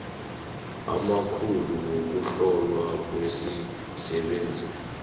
amakhulu wokuhlolwa kwemisebenzi